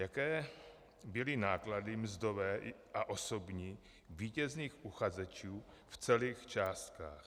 Jaké byly náklady mzdové a osobní vítězných uchazečů v celých částkách?